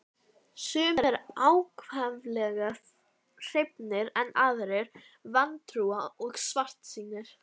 Gullhömrunum fylgdi svo heitt augnaráð að honum krossbrá.